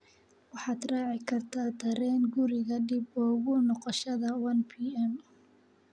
waxaad raaci kartaa tareen guriga dib ugu noqoshada 1pm